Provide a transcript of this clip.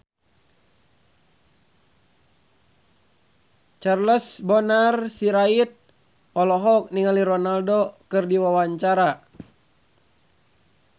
Charles Bonar Sirait olohok ningali Ronaldo keur diwawancara